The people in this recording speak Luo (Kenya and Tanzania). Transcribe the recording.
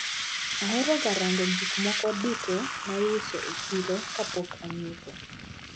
Aheroga rango gikmoko duto maiuso e chiro kapok anyiepo.